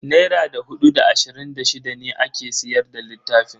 Naira da hudu da ashirin da shida ne ake siyar da littafin.